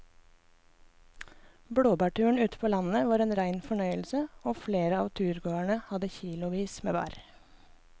Blåbærturen ute på landet var en rein fornøyelse og flere av turgåerene hadde kilosvis med bær.